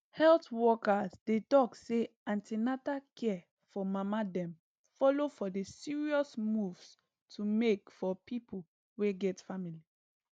health workers dey talk say an ten atal care for mama dem follow for the serious moves to make for people wey get family